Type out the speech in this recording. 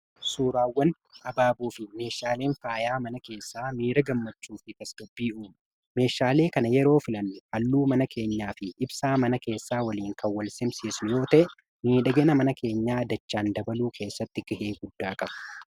Suuraawwan abaaboo fi meeshaaleen faayaa mana keessaa miira gammachuu fi tasgabba'ina meeshaalee kana yeroo filannu halluu mana keenyaa fi ibsaa mana keessaa waliin kanwwal simsiisu yoo ta'e miidhagina mana keenyaa dachaan dabaluu keessatti kahee guddaa qabu.